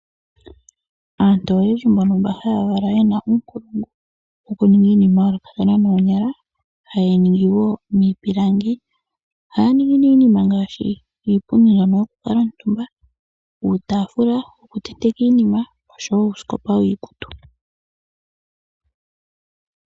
Aantu oyendji mbono haya valwa ye na uunongo wokuninga iinima ya yoolokathana noonyala haye yi ningi wo miipilangi. Ohaya ningi ne iinima ngaashi iipundi yokukala omutumba, uutafula wokutenteka iinima nosho wo uusikopa wiikutu.